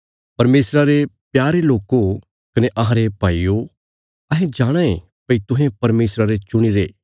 परमेशरा रे प्यारे लोको कने अहांरे भाईयो अहें जाणाँ ये भई तुहें परमेशरे चुणीरे